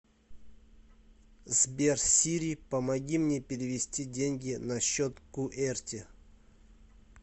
сбер сири помоги мне перевести деньги на счет куэрти